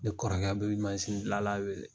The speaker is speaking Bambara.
Ne kɔrɔkɛ be manzin gilanla wele.